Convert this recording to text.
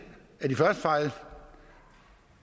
af de første fejl